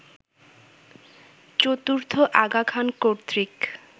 চতুর্থ আগা খান কর্তৃক